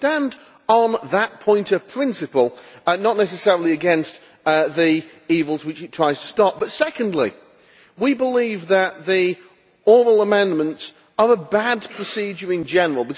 So we stand on that point of principle, not necessarily against the evils which it tries to stop. Secondly, we believe that the oral amendments are a bad procedure in general.